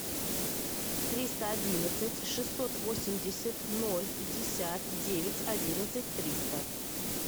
триста одиннадцать шестьсот восемьдесят ноль пятьдесят девять одиннадцать триста